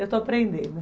Eu estou aprendendo.